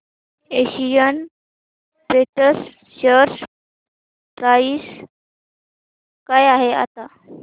Asian paints share price काय आहे आता